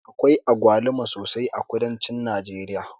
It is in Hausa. Akwai agwaluma sosai a kudancin najeriya.